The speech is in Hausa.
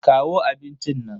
Kawo abincin nan.